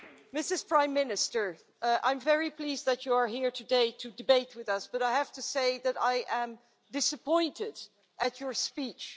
Mrs Prime Minister, I'm very pleased that you're here today to debate with us, but I have to say that I am disappointed at your speech.